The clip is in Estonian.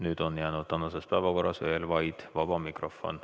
Nüüd on jäänud veel vaid vaba mikrofon.